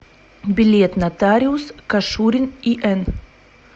билет нотариус кашурин ин